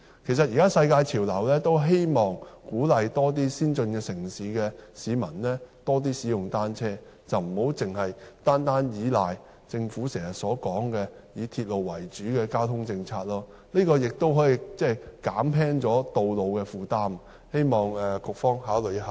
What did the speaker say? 其實，現時世界潮流都希望鼓勵更多先進城市的居民多使用單車，而不要單單倚靠政府經常說"以鐵路為主"的交通政策，這亦可以減輕道路的負擔，希望局方考慮一下。